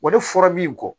Wa ne fɔra min kɔ